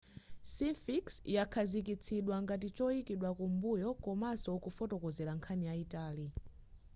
sphinx yakhazikitsidwa ngati choyikidwa kumbuyo komanso kufotokozera nkhani yayitali